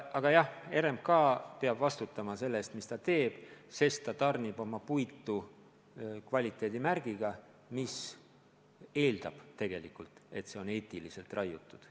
Aga jah, RMK peab vastutama selle eest, mis ta teeb, sest ta tarnib oma puitu kvaliteedimärgiga, mis eeldab, et see on eetiliselt raiutud.